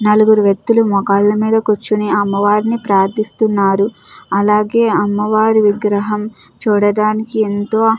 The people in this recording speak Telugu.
నలుగురు వ్యక్తులు మోకాళ్ల మీద కూర్చుని అమ్మవారిని ప్రార్థిస్తున్నారు అలాగే అమ్మవారి విగ్రహం చూడడానికి ఎంతో --